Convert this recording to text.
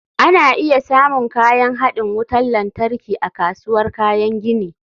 Ana iya samun kayan haɗin wutar lantarki a kasuwar kayan gini